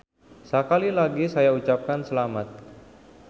Sekali lagi saya ucapkan selamat.